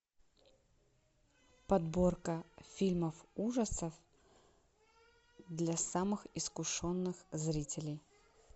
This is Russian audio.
подборка фильмов ужасов для самых искушенных зрителей